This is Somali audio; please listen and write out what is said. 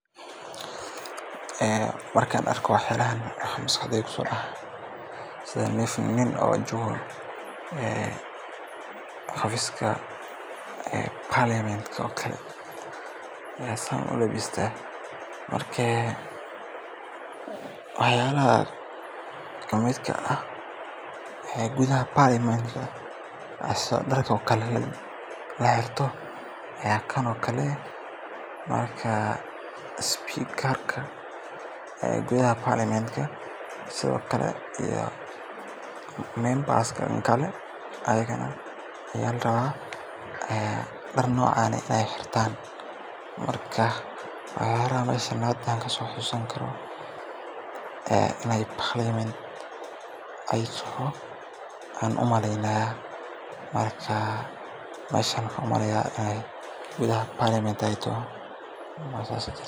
Ee markaan arko waxyaalahan waxaa maskaxdeyda kusoo dhacaa, sida nin jooga xafiiska baarlamaanka oo kale ayaa sidan u labista. Dharka uu wato iyo qaabka uu isu diyaariyey waxay muujinayaan rasmi-nimo iyo sharaf, sida dadka masuuliyiinta ah ee ka shaqeeya hay’adaha dowladda. Waxaa kale oo dareemeysaa inuu yahay qof xil sare haya ama meel muhiim ah fadhiyo, maadaama uu u labisan yahay si nidaamsan oo akhlaaq iyo ixtiraam leh. Muuqaalka noocan ah wuxuu bulshada tusayaa astaan sumcad leh iyo kalsooni.